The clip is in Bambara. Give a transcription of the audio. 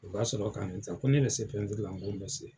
O ka sɔrɔ ka ne ta, ko ne be se pɛntiri la, n ko n bɛ se.